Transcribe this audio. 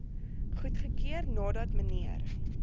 goedgekeur nadat mnr